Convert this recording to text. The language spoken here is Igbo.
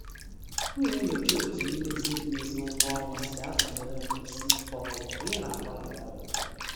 M na-enyocha otú mmezi mmezi ụgwọ ọnwa si atụnyere nkwụsi ike ọrụ mgbe ị na-agbanwe ọrụ.